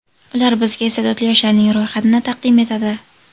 Ular bizga iste’dodli yoshlarning ro‘yxatini taqdim etadi.